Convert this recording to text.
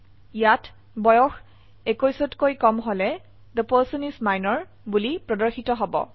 ইয়াত বয়স 21ত কৈ কম হলে থে পাৰ্চন ইচ মিনৰ বোলি প্ৰদৰ্শিত হব